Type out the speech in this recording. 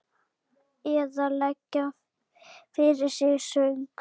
Eða leggja fyrir sig söng?